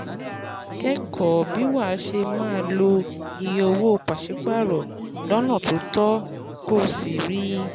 Kẹ́kọ̀ọ́ bí wàá ṣe máa lo iye owó paṣipaarọ lọ́nà tó tọ́ Kó o sì rí